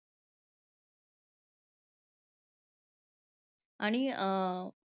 आणि अं